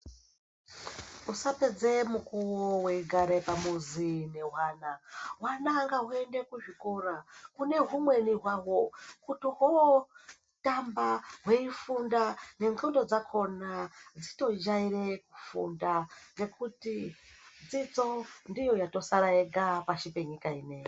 Usapedze mukuwo weigare pamuzi nehwana hwana ngahuyende kuzvikora kune humweni hwawo kuti huno tamba hweifunda nendxondo dzakhona dzitojaire kufunda ngekuti dzidzo ndiyo yatosara yega pashi penyika ineyi.